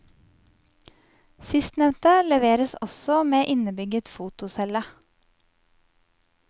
Sistnevnte leveres også med innebygget fotocelle.